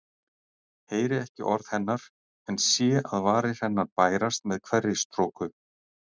Heyri ekki orð hennar en sé að varir hennar bærast með hverri stroku.